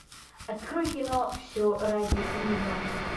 открой кино все ради нее